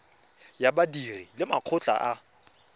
ya badiri le makgotla a